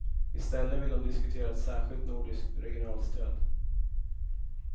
I stället vill de diskutera ett särskilt nordiskt regionalstöd.